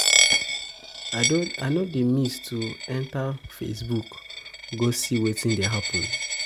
I no dey miss to enta Facebook go see wetin dey happen.